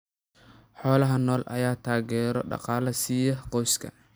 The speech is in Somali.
Xoolaha nool ayaa taageero dhaqaale siiya qoysaska.